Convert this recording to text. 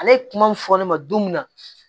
Ale ye kuma min fɔ ne ma don min na